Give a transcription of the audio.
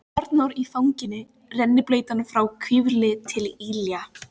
Arnór í fanginu, rennblautan frá hvirfli til ilja.